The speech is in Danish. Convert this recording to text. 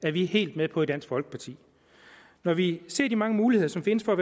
er vi helt med på i dansk folkeparti når vi ser de mange muligheder som findes for at